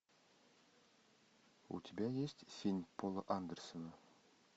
у тебя есть синь пола андерсона